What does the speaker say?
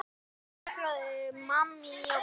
Alveg milljón manns!